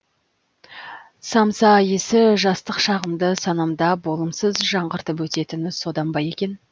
самса иісі жастық шағымды санамда болымсыз жаңғыртып өтетіні содан ба екен